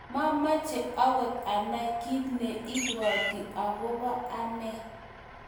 mameche akot anai kiit ne ibwoti akaobo anee